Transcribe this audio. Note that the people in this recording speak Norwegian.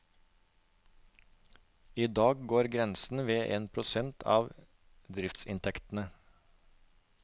I dag går grensen ved en prosent av driftsinntektene.